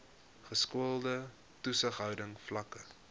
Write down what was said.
geskoolde toesighouding vlakke